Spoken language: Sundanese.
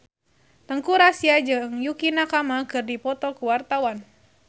Teuku Rassya jeung Yukie Nakama keur dipoto ku wartawan